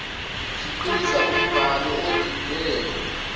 khiqiza umbhalo odidene